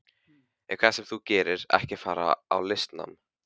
En hvað sem þú gerir, ekki fara í listnám.